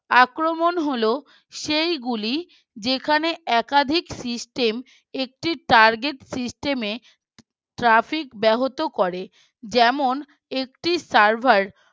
আক্রমণ হলো সেইগুলি যেখানে একাধিক System একটি Target System Traffic ব্যাহত করে যেমন একটি Server